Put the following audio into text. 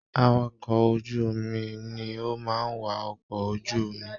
Àwàkọ̀ ojú omi ni o máa n wà ọkọ ojú omi.